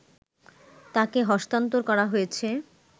তাকে হস্তান্তর করা হয়েছে